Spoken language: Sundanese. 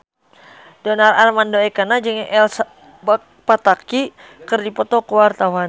Donar Armando Ekana jeung Elsa Pataky keur dipoto ku wartawan